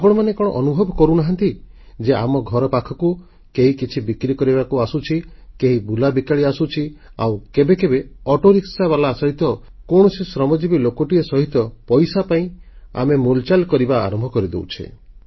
ଆପଣମାନେ କଣ ଅନୁଭବ କରୁନାହାଁନ୍ତି ଯେ ଆମ ଘର ପାଖକୁ କେହି କିଛି ବିକ୍ରି କରିବାକୁ ଆସୁଛି କେହି ବୁଲାବିକାଳି ଆସୁଛି ଆଉ କେବେ କେବେ ଅଟୋରିକ୍ସା ବାଲା ସହିତ କୌଣସି ଶ୍ରମଜୀବି ଲୋକଟିଏ ସହିତ ପଇସା ପାଇଁ ଆମେ ମୁଲଚାଲ କରିବା ଆରମ୍ଭ କରିଦେଉଛେ